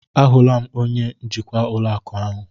A hụla m onye njikwa ụlọ akụ ahụ.